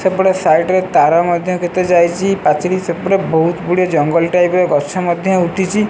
ସେପଟ ସାଇଟ ରେ ତାର ମଧ୍ଯ କେତେ ଯାଇଚି ପାଚିରି ସେପଟେ ବହୁତ ଗୁଡିଏ ଜଙ୍ଗଲ ଟାଇପ ର ଗଛ ମଧ୍ଯ ଉଠିଚି।